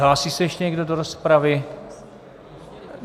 Hlásí se ještě někdo do rozpravy?